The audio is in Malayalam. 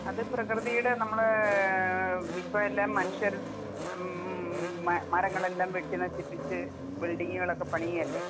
അത് പ്രകൃതിയുടെ നമ്മള് ഇപ്പൊ എല്ലാം മനുഷ്യർ ഉം മ മരങ്ങളെല്ലാം വെട്ടി നശിപ്പിച്ച് ബിൽഡിങ്ങുകളൊക്കെ പണിയല്ലേ.